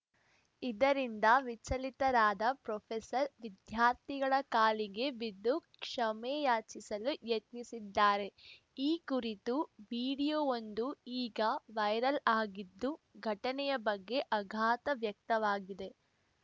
ಇದರಿಂದ ವಿಚಲಿತರಾದ ಪ್ರೊಫೆಸರ್‌ ವಿದ್ಯಾರ್ಥಿಗಳ ಕಾಲಿಗೆ ಬಿದ್ದು ಕ್ಷಮೆ ಯಾಚಿಸಲು ಯತ್ನಿಸಿದ್ದಾರೆ ಈ ಕುರಿತು ವೀಡಿಯೊವೊಂದು ಈಗ ವೈರಲ್‌ ಆಗಿದ್ದು ಘಟನೆಯ ಬಗ್ಗೆ ಆಘಾತ ವ್ಯಕ್ತವಾಗಿದೆ